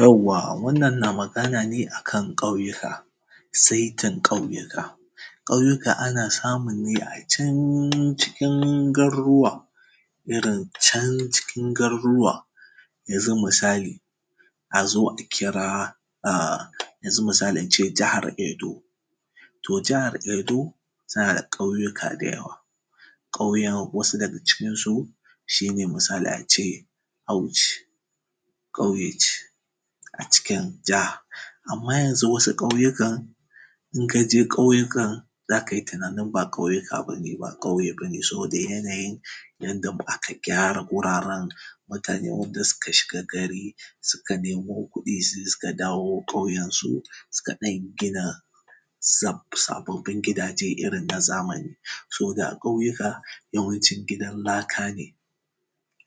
yawwa wannan na magana ne akan ƙauyuka saitin ƙauyuka ƙauyuka ana samu ne a cancikin garuruwa irin cancikin garuruwa yanzu misali yanzu misali ince jihar edo to jihar edo tanada ƙauyuka da yawa ƙauyuka misalin a cikin su shine misali ace auci ƙauye ce a cikin jiha amma yanzu wasu ƙauyukan inkaje ƙauyukan zakai tunanin ba ƙauyuka bane saboda yanayin yanda aka gyara wuraren mutane yanda suka shiga gari suka nemo kuɗi sai suka dawo ƙauyen su suka dan gina sababbin gidaje irin na zamani so da ƙauyuka yawancin ginin laka ne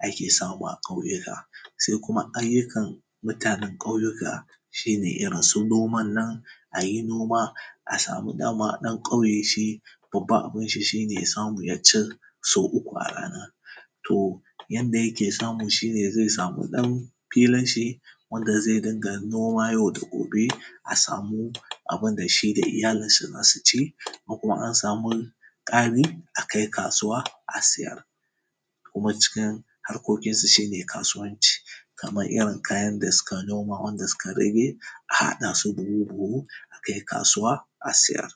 ake samu a ƙauyuka sai kuma ayyukan mutanen ƙauyuka shine irin su noman nan ayi noma asamu dama dan ƙauye shi babban abunshi shine ya samu yaci sau uku a rana to yanda yake samu shine samu dan filinshi wanda zai rinka noma yau da gobe abinda shida iyalan sa zasu ci in kuma an samu ƙari akai kasuwa a sayar kuma cikin harkokin su shine kasuwanci kaman irin kayan da suka noma wanda suka rage a haɗasu buhu buhu akai kasuwa a sayar.